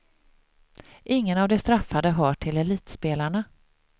Ingen av de straffade hör till elitspelarna.